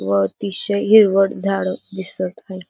व अतिशय हिरवट झाड दिसत हाय.